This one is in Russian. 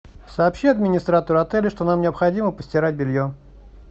сообщи администратору отеля что нам необходимо постирать белье